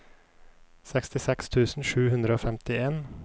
sekstiseks tusen sju hundre og femtien